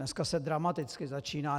Dneska se dramaticky začíná...